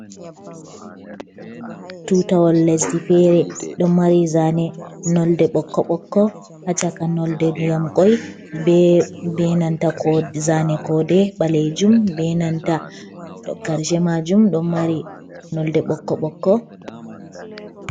Tutawol lesdi fere ɗo mari zane nolɗe bokko bokko ha caka nolɗe ndiyam koi ɓenanta zane kode, Ɓalejum Ɓenanta ɗo karshe majum ɗo mari nolɗe bokko bokko.